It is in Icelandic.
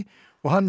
og hann